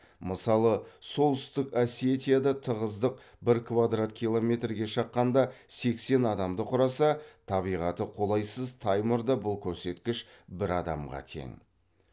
мысалы солтүстік осетияда тығыздық бір квадрат километрге шаққанда сексен адамды құраса табиғаты қолайсыз таймырда бұл көрсеткіш бір адамға тең